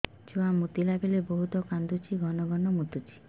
ଛୁଆ ମୁତିଲା ବେଳେ ବହୁତ କାନ୍ଦୁଛି ଘନ ଘନ ମୁତୁଛି